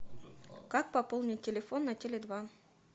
как пополнить телефон на теле два